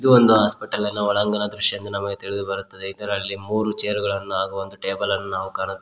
ಇದು ಒಂದು ಹಾಸ್ಪಿಟಲ್ ನ ಒಳಾಂಗಣ ದೃಶ್ಯ ಎಂದು ನಮಗೆ ತಿಳಿದು ಬರುತ್ತದೆ ಇದರಲ್ಲಿ ಮೂರು ಚೇರ ಗಳನ್ನು ಒಂದು ಟೇಬಲ್ ಅನ್ನು ನಾವು ಕಾಣು --